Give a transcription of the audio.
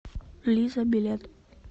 лиза билет